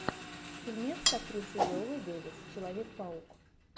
фильмец с актрисой виолой дэвис человек паук